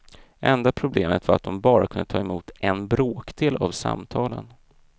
Enda problemet var att de bara kunde ta emot en bråkdel av samtalen.